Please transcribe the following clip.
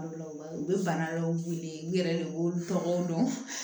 U bɛ bana dɔw weele u yɛrɛ de b'olu tɔgɔw dɔn